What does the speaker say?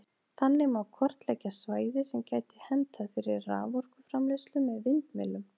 Þannig má kortleggja svæði sem gæti hentað fyrir raforkuframleiðslu með vindmyllum.